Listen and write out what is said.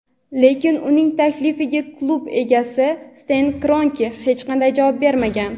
lekin uning taklifiga klub egasi Sten Kronke hech qanday javob bermagan.